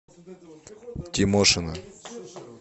тимошина